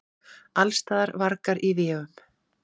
Allsstaðar: vargar í véum.